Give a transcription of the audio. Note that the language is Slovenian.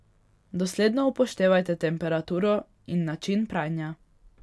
Dosledno upoštevajte temperaturo in način pranja.